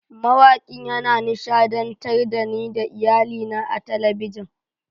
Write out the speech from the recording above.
Mawakin yana nishadantar da ni da iyalina a talabijin.